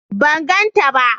ban ganta ba